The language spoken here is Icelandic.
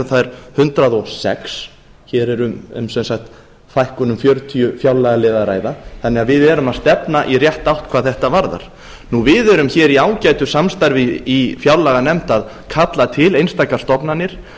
þær hundrað og sex hér er sem sagt um fækkun fjörutíu fjárlagaliða að ræða þannig að við erum að stefna í rétta átt hvað þetta varðar við erum hér í ágætu samstarfi í fjárlaganefnd að kalla til einstakar stofnanir